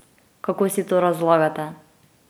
Kako si to razlagate?